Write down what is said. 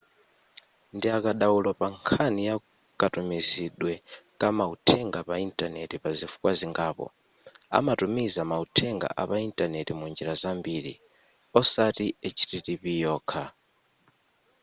ndiakadaulo pa nkhani ya katumizidwe ka mauthenga pa intaneti pazifukwa zingapo amatumiza mauthenga apa intaneti munjira zambiri osati http yokha